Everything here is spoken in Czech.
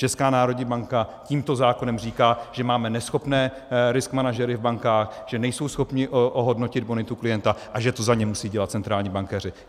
Česká národní banka tímto zákonem říká, že máme neschopné risk manažery v bankách, že nejsou schopni ohodnotit bonitu klienta a že to za ně musí dělat centrální bankéři.